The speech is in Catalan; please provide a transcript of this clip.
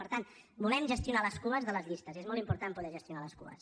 per tant volem gestionar les cues de les llistes és molt important poder gestionar les cues